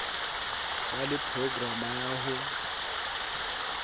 ba le programa ya ho